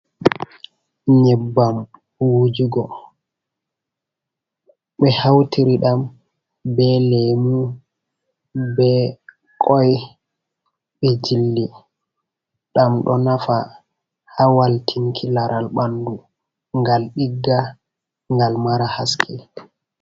Nyebbam wujugo be hautiri ɗam be lemu, be koi, ɓe jilli ɗam, ɗo nafa hawal tinki laral ɓanɗu, gal ɗigga, ngal mara haske.